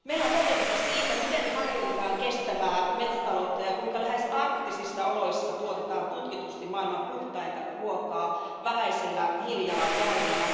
Meillä on kokemusta siitä, miten harjoitetaan kestävää metsätaloutta ja kuinka lähes arktisissa oloissa tuotetaan tutkitusti maailman puhtainta ruokaa vähäisellä hiilijalanjäljellä.